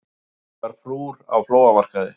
Fjörugar frúr á flóamarkaði